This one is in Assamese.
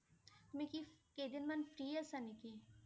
তুমি কি কেইদিনমান free আছা নেকি?